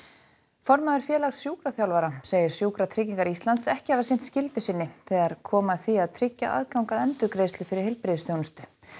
formaður Félags sjúkraþjálfara segir Sjúkratryggingar Íslands ekki hafa sinnt skyldu sinni þegar kom að því að tryggja aðgang að endurgreiðslu fyrir heilbrigðisþjónustu